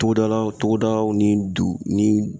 Togodala togodaw ni du ni